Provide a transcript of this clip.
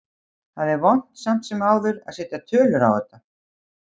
Það er vont samt sem áður að setja tölur á þetta.